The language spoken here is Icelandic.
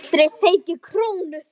Og aldrei fengið krónu fyrir.